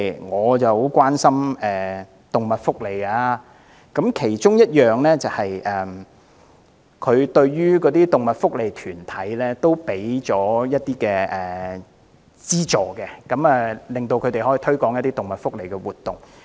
我很關心動物福利，預算案其中一項撥款是向動物福利團體提供資助，令他們可以推廣動物福利的活動。